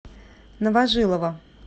новожилова